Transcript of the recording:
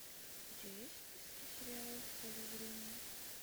у тебя есть в списке сериал в поле зрения